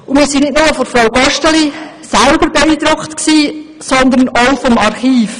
Wir waren nicht nur von Frau Gosteli selber beeindruckt, sondern auch vom Archiv.